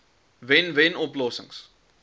wen wen oplossings